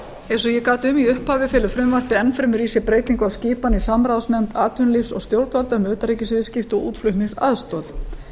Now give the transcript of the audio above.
eins og ég gat um í upphafi felur frumvarpið enn fremur í sér breytingu á skipan í samráðsnefnd atvinnulífs og stjórnvalda um utanríkisviðskipti og útflutningsaðstoð